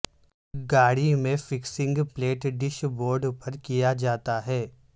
گاڑی میں fixing plate dashboard پر کیا جاتا ہے